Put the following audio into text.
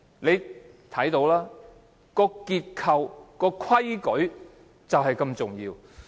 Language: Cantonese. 由此可見，結構和規矩都很重要。